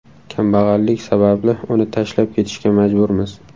Kambag‘allik sababli uni tashlab ketishga majburmiz.